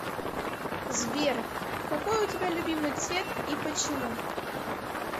сбер какой у тебя любимый цвет и почему